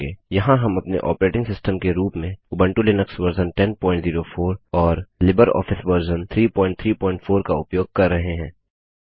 यहाँ हम अपने ऑपरेटिंग सिस्टम के रूप में उबंटु लिनक्स वर्जन 1004 और लिबर ऑफिस वर्जन 334 का उपयोग कर रहे हैं